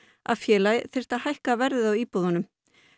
að félagið þyrfti að hækka verðið á íbúðunum